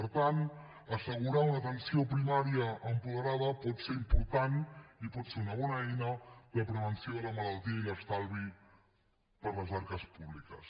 per tant assegurar una atenció primària apoderada pot ser important i pot ser una bona eina de prevenció de la malaltia i d’estalvi per a les arques públiques